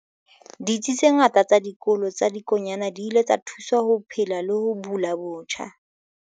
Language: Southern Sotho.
Ditsi tse ngata tsa Dikolo tsa Dikonyana di ile tsa thuswa ho phela le ho bula botjha.